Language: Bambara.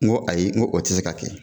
Ko ayi ko o tɛ se ka kɛ